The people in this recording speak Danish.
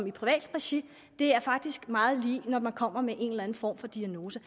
i privat regi det er faktisk meget lige når man kommer med en eller anden form for diagnose